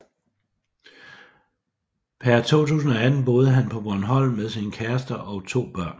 Per 2018 boede han på Bornholm med sin kæreste og to børn